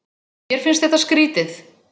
Mér finnst þetta skrýtið.